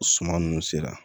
Suman nunnu sera